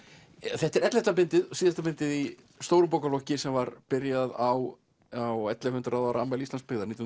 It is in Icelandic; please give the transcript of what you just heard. þetta er ellefta bindið og síðasta bindið í stórum bókaflokki sem var byrjað á á ellefu hundruð ára afmæli Íslandsbyggðar nítján